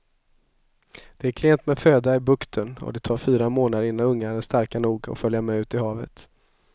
Det är klent med föda i bukten och det tar fyra månader innan ungarna är starka nog att följa med ut i havet.